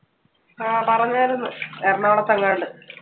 ആ പറഞ്ഞാർന്ന് എറണാകുളത്തെങ്ങാണ്ട്, ജോലി ആയെന്ന്.